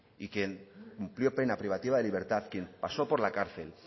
y quien cumplió pena privativa de libertad quien pasó por la cárcel